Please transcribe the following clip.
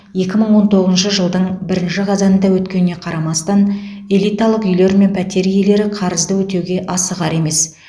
екі мың он тоғызыншы жылдың бірінші қазанында өткеніне қарамастан элиталық үйлер мен пәтер иелері қарызды өтеуге асығар емес